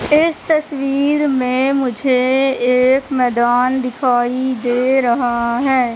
इस तस्वीर में मुझे एक मैदान दिखाई दे रहा है।